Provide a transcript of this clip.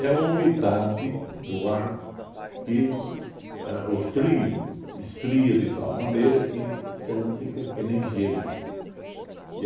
É a umidade do ar que ãh o frio esfria de tal maneira que então fica que nem gelo. E